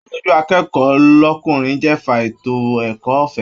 Aṣojú akẹ́kọ̀ọ́ l'ọkunrin jẹ́fà ètò ẹ̀kọ́ ọ̀fẹ́.